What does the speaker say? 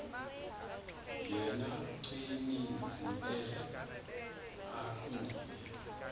yena gcinizibele akanguye